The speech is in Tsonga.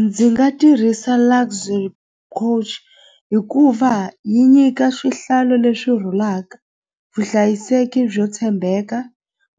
Ndzi nga tirhisa Luxury Coach hikuva yi nyika swihlalo leswi rhulaka vuhlayiseki byo tshembeka